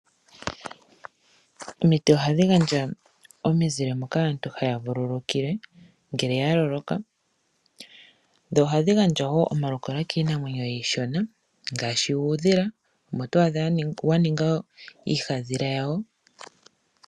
Omiti ohadhi gandja omizile moka aantu haya vululukile ngele yaloloka. Dho ohadhi gandja woo omalukalwa kiinamwenyo iishona ngaashi uudhila, omo to adha waninga uufadhila wawo.